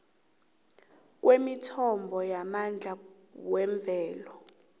kwemithombo yamandla yemvelo